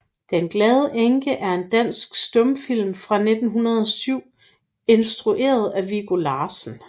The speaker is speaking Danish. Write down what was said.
Den glade Enke er en dansk stumfilm fra 1907 instrueret af Viggo Larsen